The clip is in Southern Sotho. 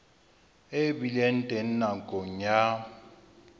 e bileng teng nakong ya